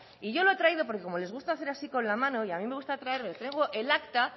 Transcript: y yo lo he traído porque como les gusta hacer así con la mano y a mí me gusta traer le traigo el acta